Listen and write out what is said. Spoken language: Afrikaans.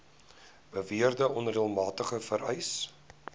beweerde onreëlmatigheid vereis